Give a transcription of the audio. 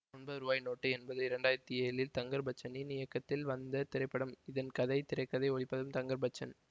ஒன்பது ரூபாய் நோட்டு என்பது இரண்டு ஆயிரத்தி ஏழில் தங்கர்பச்சனின் இயக்கத்தில் வந்த திரைப்படம் இதன் கதை திரை கதை ஒளிப்பதிவும் தங்கர்பச்சன்